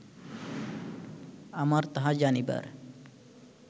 আমার তাহা জানিবার